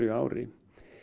ári